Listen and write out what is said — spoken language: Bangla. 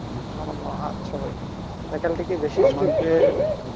আচ্ছা ভাই faculty কি বেশি strict